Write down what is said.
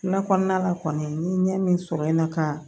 Kuma kɔnɔna la kɔni n ye ɲɛ min sɔrɔ n na ka